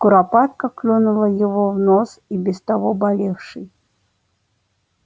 куропатка клюнула его в нос и без того болевший